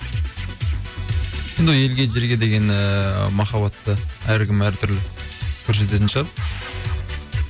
енді ол елге жерге деген ііі махаббатты әркім әр түрлі көрсететін шығар